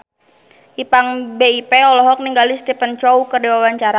Ipank BIP olohok ningali Stephen Chow keur diwawancara